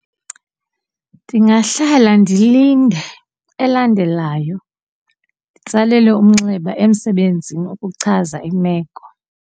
Ndingahlala ndilinde elandelayo nditsalele umnxeba emsebenzini ukuchaza imeko.